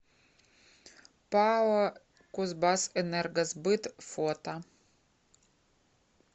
пао кузбассэнергосбыт фото